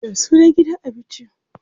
Ya sunan gidan abinci?